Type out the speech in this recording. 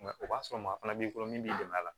o b'a sɔrɔ maa fana b'i bolo min b'i dɛmɛ a la